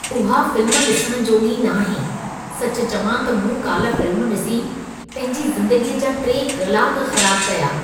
उहा फ़िल्म ॾिसण जोॻी नाहे। सचु चवां त मूं काल्हि फ़िल्म ॾिसी, पंहिंजी ज़िंदगीअ जा 3 कलाक ख़राब कया।